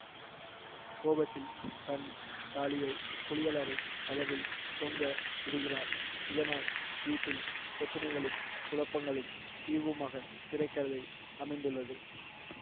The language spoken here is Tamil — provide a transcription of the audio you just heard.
கோபத்தில் தன் தாலியை குளியலறை கதவில் தொங்க விடுகிறார் இதனால் வீட்டில் பிரச்சினைகளும் குழப்பங்களும் தீர்வுமாக திரை கதை அமைந்துள்ளது